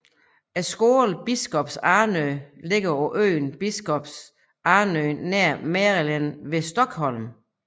Skolen Biskops Arnö ligger på øen Biskops Arnö nær Mälaren ved Stockholm